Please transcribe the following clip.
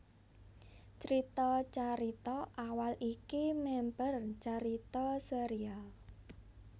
Crita carita awal iki mèmper carita sérial